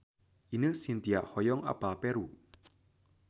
Ine Shintya hoyong apal Peru